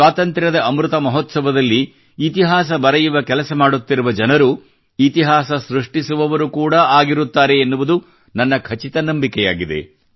ಸ್ವಾತಂತ್ರ್ಯದ ಅಮೃತ ಮಹೋತ್ಸವದಲ್ಲಿ ಇತಿಹಾಸ ಬರೆಯುವ ಕೆಲಸ ಮಾಡುತ್ತಿರುವ ಜನರು ಇತಿಹಾಸ ಸೃಷ್ಟಿಸುವವರು ಕೂಡಾ ಆಗಿರುತ್ತಾರೆ ಎನ್ನುವುದು ನನ್ನ ಖಚಿತ ನಂಬಿಕೆಯಾಗಿದೆ